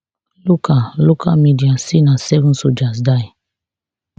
local local media say na seven soldiers die